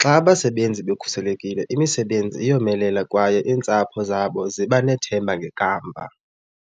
Xa abasebenzi bekhuselekile imisebenzi iyomelela kwaye iintsapho zabo ziba nethemba ngekamva.